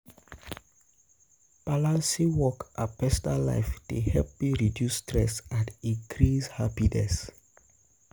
Balancing work and personal life dey help me reduce stress and increase happiness.